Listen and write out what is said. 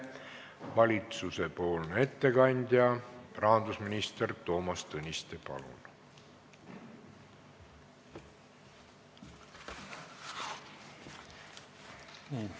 Valitsuse ettekandja rahandusminister Toomas Tõniste, palun!